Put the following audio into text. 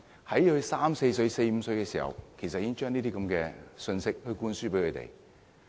在小孩三四歲、四五歲的時候，已經將這樣的信息灌輸給他們。